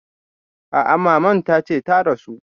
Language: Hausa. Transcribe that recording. A a maman ta ce ta rasu.